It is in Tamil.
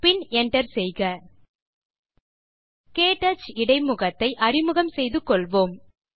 பின் Enter செய்க க்டச் இடைமுகத்தை அறிமுகம் செய்து கோள்வோம்